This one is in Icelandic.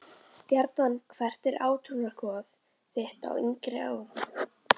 Stjarnan Hvert var átrúnaðargoð þitt á yngri árum?